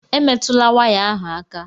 Emetụla waya ahụ aka!